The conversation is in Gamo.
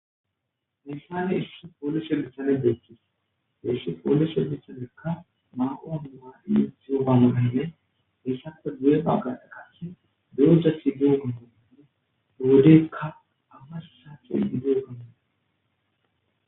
missane issu poolise misane beekhkhis iissu pooluse bisamekka maqoamuai ziyo gamananne hessappe gu7e qawagae qasshe duroja sidio gandanine wodeykka amassaacii geo gannoe